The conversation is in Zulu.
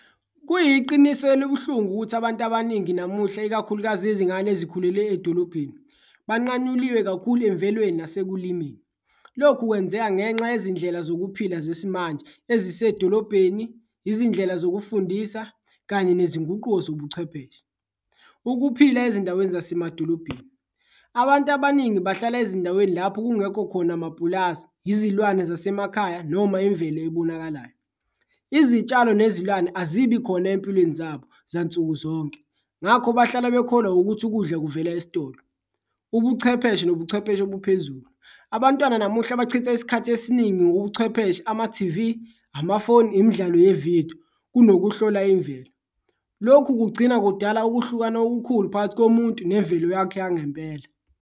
Kuyiqiniso elibuhlungu ukuthi abantu abaningi namuhla ikakhulukazi izingane ezikhulele edolobheni banqanyuliwe kakhulu emvelweni nasekulimeni, lokhu kwenzeka ngenxa yezindlela zokuphila zesimanje ezisedolobheni, izindlela zokufundisa kanye nezinguquko zobuchwepheshe. Ukuphila ezindaweni zasemadolobheni, abantu abaningi bahlala ezindaweni lapho kungekho khona mapulazi, izilwane zasemakhaya noma imvelo ebonakalayo, izitshalo nezilwane azibi khona empilweni zabo zansuku zonke. Ngakho bahlala bekholwa ukuthi ukudla kuvela esitolo ubuchwepheshe nobuchwepheshe buphezulu, abantwana namuhla bachitha isikhathi esiningi ngobuchwepheshe, ama-T_V, amafoni, imidlalo yevidiyo kunokuhlola imvelo. Lokhu kugcina kudala ukuhlukana okukhulu phakathi komuntu nemvelo yakhe yangempela.